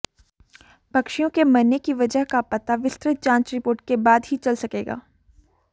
पक्षियों के मरने की वजह का पता विस्तृत जांच रिपोर्ट के बाद ही चल सकेगा